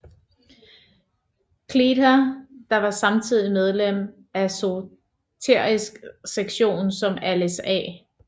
Cleather der var samtidig medlem af Esoterisk Sektion som Alice A